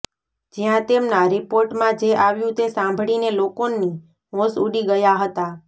જ્યાં તેમના રિપોર્ટમાં જે આવ્યુ તે સાંભળીને લોકોની હોશ ઉડી ગયા હતા